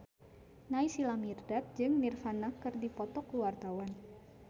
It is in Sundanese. Naysila Mirdad jeung Nirvana keur dipoto ku wartawan